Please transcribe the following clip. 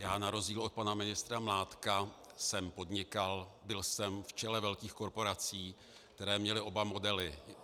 Já na rozdíl od pana ministra Mládka jsem podnikal, byl jsem v čele velkých korporací, které měly oba modely.